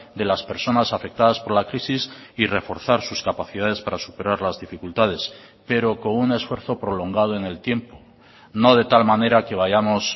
de las personas afectadas por la crisis y reforzar sus capacidades para superar las dificultades pero con un esfuerzo prolongado en el tiempo no de tal manera que vayamos